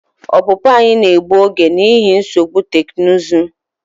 Ọpụpụ anyị na-egbu oge n'ihi nsogbu teknụzụ.